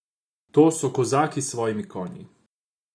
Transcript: To so Kozaki s svojimi konji.